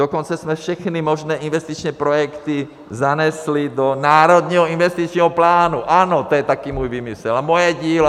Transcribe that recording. Dokonce jsme všechny možné investiční projekty zanesli do Národního investičního plánu - ano, to je taky můj výmysl a moje dílo.